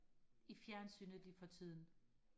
i fjernsynet lige for tiden